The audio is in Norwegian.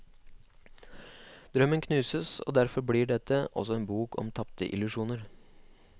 Drømmen knuses, og derfor blir dette også en bok om tapte illusjoner.